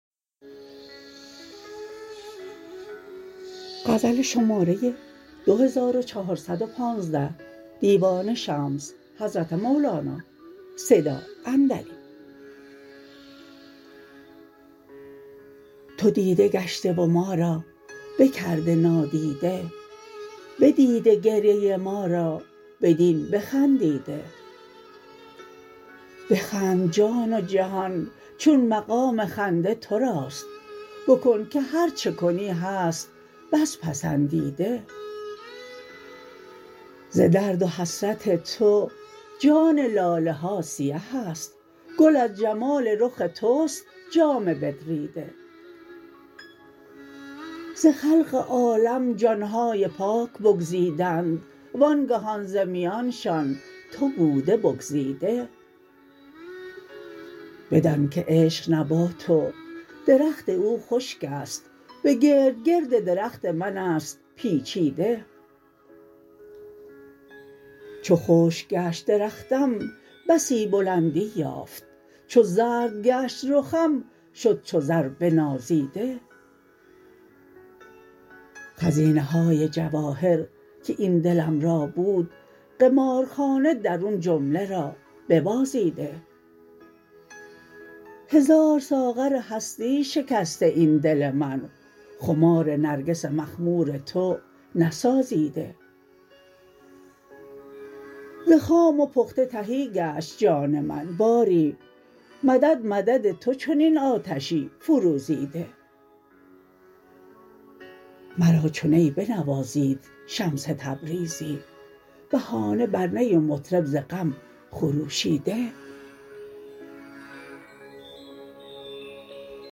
تو دیده گشته و ما را بکرده نادیده بدیده گریه ما را بدین بخندیده بخند جان و جهان چون مقام خنده تو راست بکن که هر چه کنی هست بس پسندیده ز درد و حسرت تو جان لاله ها سیه است گل از جمال رخ توست جامه بدریده ز خلق عالم جان های پاک بگزیدند و آنگهان ز میانشان تو بوده بگزیده بدانک عشق نبات و درخت او خشک است به گرد گرد درخت من است پیچیده چو خشک گشت درختم بسی بلندی یافت چو زرد گشت رخم شد چو زر بنازیده خزینه های جواهر که این دلم را بود قمارخانه درون جمله را ببازیده هزار ساغر هستی شکسته این دل من خمار نرگس مخمور تو نسازیده ز خام و پخته تهی گشت جان من باری مدد مدد تو چنین آتشی فروزیده مرا چو نی بنوازید شمس تبریزی بهانه بر نی و مطرب ز غم خروشیده